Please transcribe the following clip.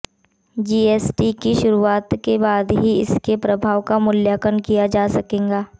GST की शुरुआत के बाद ही इसके प्रभाव का मूल्यांकन किया जा सकेगा